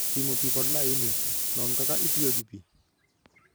Pimo pi kod layini: Non kaka itiyo gi pi.